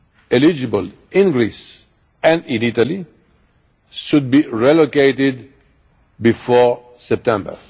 eligible in Greece and in Italy should be relocated before September.